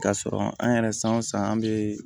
K'a sɔrɔ an yɛrɛ san o san an bɛ